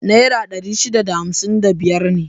Nera ɗari shida da hamsin da biyar ne.